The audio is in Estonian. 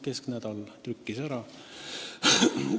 Kesknädal trükkis selle ära.